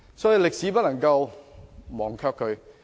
所以，我們不能忘卻歷史。